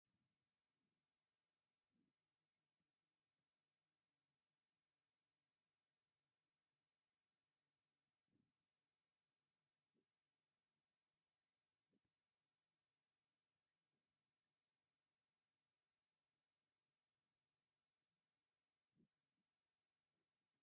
ክንደይ ከቢድን በዳህን እዩ! እቲ ደረቕ መሬትን ኣኻውሕን ንጸገም ህይወት ዘርኢ እዩ። እቶም ህጻናት ኣብ ጥቓ ንእሽቶ ዓይኒ ማይ ማይ ንምርካብ ክጽዕሩ ይረኣዩ። እዞም ቆልዑ ጽሩይ ማይ ክረኽቡ ይኽእሉዶ?